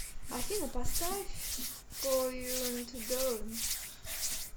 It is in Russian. афина поставь коюнтдоун